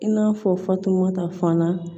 I n'a fɔ fatumata fan na